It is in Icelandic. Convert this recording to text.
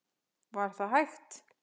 Var það hægt?